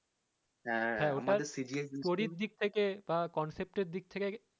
হ্যা